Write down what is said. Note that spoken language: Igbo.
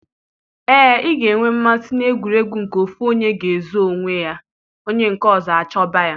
Ee, ị ga-enwe mmasị na egwuregwu nke ofu onye ga-aga zoo onwe ya onye nke ọzọ achọba ya.